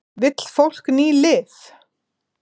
Vill fólk ný lyf?